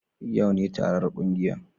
Yau ne taron kungiyar